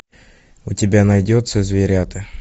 у тебя найдется зверята